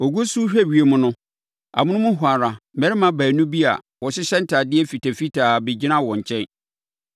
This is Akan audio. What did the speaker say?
Wɔgu so rehwɛ ewiem no, amonom hɔ ara, mmarima baanu bi a wɔhyehyɛ ntadeɛ fitafitaa bɛgyinaa wɔn nkyɛn,